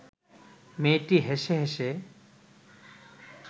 মেয়েটি হেসে হেসে